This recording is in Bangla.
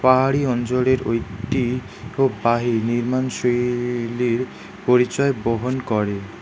পাহাড়ি অঞ্জলের ও একটি খুব বাহি নির্মাণশৈলীর পরিচয় বহন করে।